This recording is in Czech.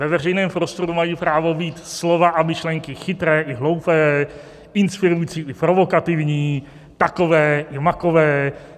Ve veřejném prostoru mají právo být slova a myšlenky chytré i hloupé, inspirující i provokativní, takové i makové.